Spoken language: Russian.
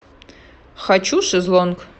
хочу шезлонг